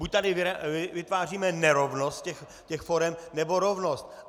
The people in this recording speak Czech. Buď tady vytváříme nerovnost těch forem, nebo rovnost.